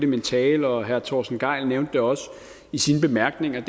min tale og herre torsten gejl nævnte det også i sine bemærkninger